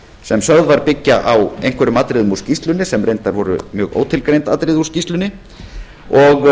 sem sögð var byggja á einhverjum atriðum úr skýrslunni sem reyndar voru mjög ótilgreind og